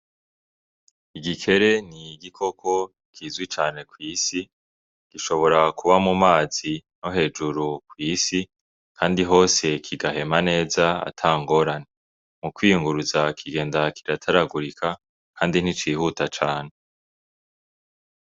Igikere n'igikoko kizwi cane kw'isi ,gishobora kuba mumazi no hejuru kw'isi ,Kandi hose kigahema neza atangorane ,mukwiyunguruza kigenda kirataragurika ,kandi nticihuta cane.